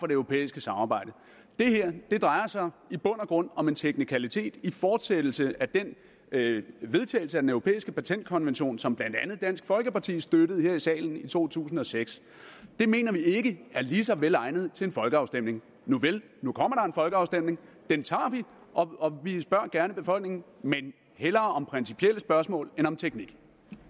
det europæiske samarbejde det her drejer sig i bund og grund om en teknikalitet i fortsættelse af den vedtagelse af den europæiske patentkonvention som blandt andet dansk folkeparti støttede her i salen i to tusind og seks det mener vi ikke er lige så vel egnet til en folkeafstemning nuvel nu kommer der folkeafstemning den tager vi og vi spørger gerne befolkningen men hellere om principielle spørgsmål end om teknik